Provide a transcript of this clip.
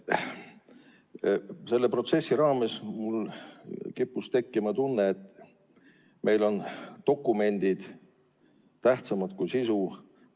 Selle protsessi raames kippus mul tekkima tunne, et meil on dokumendid tähtsamad kui sisu.